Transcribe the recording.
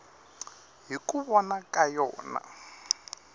hi ku vona ka yona